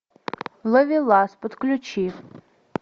ловелас подключи